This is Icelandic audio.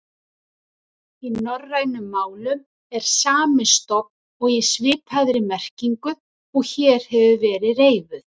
Í norrænum málum er sami stofn og í svipaðri merkingu og hér hefur verið reifuð.